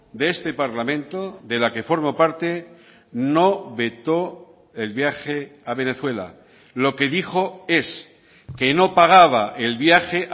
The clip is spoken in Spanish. de este parlamento de la que formo parte no vetó el viaje a venezuela lo que dijo es que no pagaba el viaje